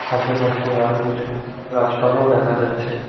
আশেপাশে আরও কিছু গাছপালাও দেখা যাচ্ছে।